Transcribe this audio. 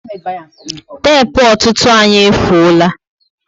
Tepu ọtụtụ anyị efuola